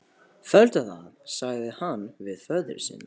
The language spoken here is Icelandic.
Felldu það, sagði hann við föður sinn.